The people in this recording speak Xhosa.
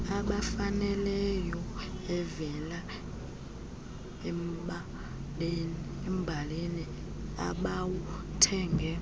ebafaneleyoevela embaneni abawuthenge